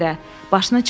Başını çıxarma.